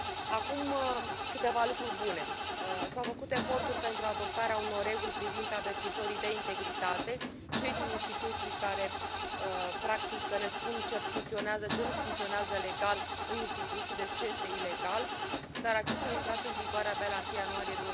Acum, câteva lucruri bune s au făcut eforturi pentru adoptarea unor reguli privind avertizorii de integritate, cei din instituții care, practic, ne spun ce funcționează, ce nu funcționează legal în instituții, deci, ce este ilegal, dar acestea au intrat în vigoare doar la 1 ianuarie